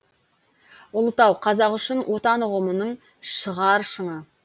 ұлытау қазақ үшін отан ұғымының шығар шыңы